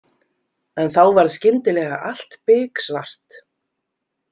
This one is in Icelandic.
En þá varð skyndilega allt biksvart.